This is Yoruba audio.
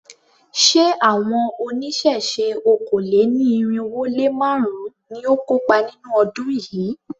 Ṣé àwọn oníṣẹ̀ṣe okòó-lé-ní-irínwó-lé-márùn-ún ni ó kópa nínú ọdún yìí?